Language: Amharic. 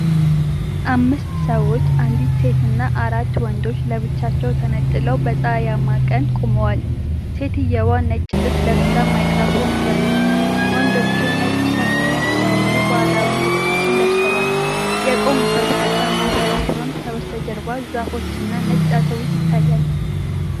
አምስት ሰዎች፣ አንዲት ሴትና አራት ወንዶች፣ ለብቻቸው ተነጥለው በፀሐያማ ቀን ቆመዋል። ሴትየዋ ነጭ ልብስ ለብሳ ማይክራፎን ይዛለች፤ ወንዶቹም ነጭ ሻሽ እና የተለያዩ ባህላዊ ልብሶችን ለብሰዋል። የቆሙበት ቦታ መሬት ሲሆን ከበስተጀርባ ዛፎች እና ነጭ አውቶብስ ይታያል።